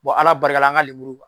Ala barika la an ka lemuru